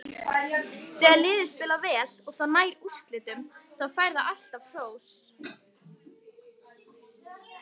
Þegar liðið spilar vel og það nær úrslitum, þá fær það alltaf hrós.